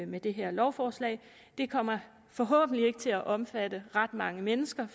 med det her lovforslag det kommer forhåbentlig ikke til at omfatte ret mange mennesker